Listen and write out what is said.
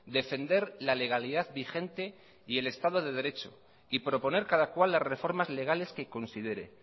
defender la legalidad vigente y el estado de derecho y proponer cada cual las reformas legales que considere